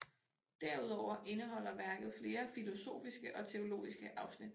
Derudover indeholder værket flere filosofiske og teologiske afsnit